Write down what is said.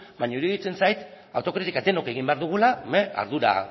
baino iruditzen zait autokritika denok egin behar dugula